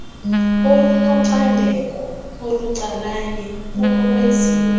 olunocandeko olucalanye kunokwenziwa